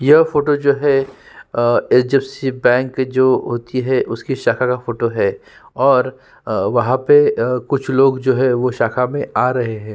यह फोटो जो है अ एच.डी.एफ.सी बैंक की जो होती है उसकी शटर की फोटो है और वहाँ पे अ कुछ लोग जो है वो शाखा मे आ रहें हैं।